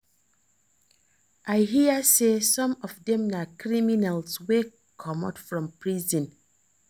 I hear say some of dem na criminals wey comot from prison